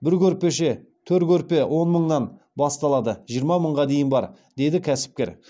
бір көрпеше төр көрпе он мыңнан басталады жиырма мыңға дейін бар деді кәсіпкер